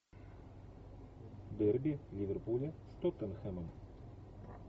дерби ливерпуля с тоттенхэмом